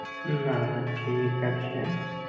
না, ঠিক আছে।